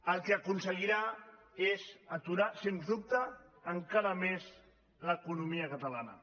el que aconseguirà és aturar sens dubte encara més l’economia catalana